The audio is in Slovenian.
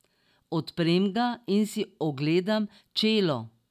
Odprem ga in si ogledam čelo.